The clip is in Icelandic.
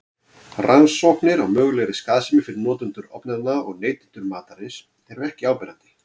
Rannsóknir á mögulegri skaðsemi fyrir notendur ofnanna og neytendur matarins eru ekki áberandi.